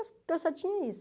Eu só tinha isso.